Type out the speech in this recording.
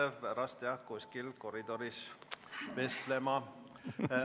Te peate pärast jah kuskil koridoris vestlema.